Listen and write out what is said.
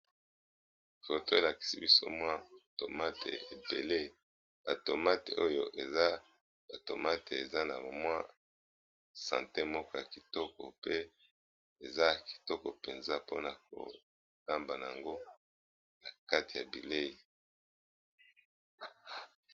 Foto elakisi biso mwa tomate ebele atomate oyo eza atomate eza na mwa sante moko ya kitoko pe eza kitoko mpenza mpona kotamba na yango na kati ya bileyi.